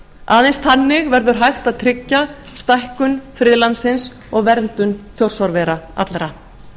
aðeins þannig verður hægt að tryggja stækkun friðlandsins og verndun þjórsárvera allra